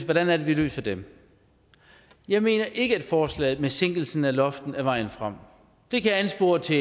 hvordan er det vi løser dem jeg mener ikke at forslaget om en sænkelse af loftet er vejen frem det kan anspore til